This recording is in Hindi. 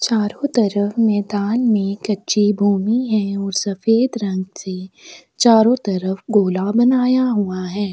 चारो तरफ मैदान में कच्चे भूमि है और सफेद रंग से चारो तरफ गोला बनाया हुआ है।